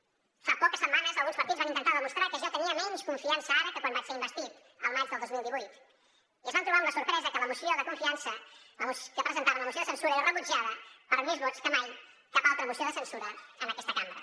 fa poques setmanes alguns partits van intentar demostrar que jo tenia menys confiança ara que quan vaig ser investit al maig del dos mil divuit i es van trobar amb la sorpresa que la moció de censura que presentaven era rebutjada per més vots que mai cap altra moció de censura en aquesta cambra